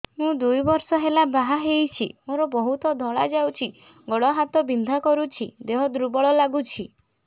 ମୁ ଦୁଇ ବର୍ଷ ହେଲା ବାହା ହେଇଛି ମୋର ବହୁତ ଧଳା ଯାଉଛି ଗୋଡ଼ ହାତ ବିନ୍ଧା କରୁଛି ଦେହ ଦୁର୍ବଳ ହଉଛି